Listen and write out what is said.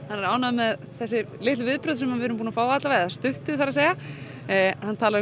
hann er ánægður með þessi litlu viðbrögð sem við erum búin að fá eða stuttu það er að segja hann talar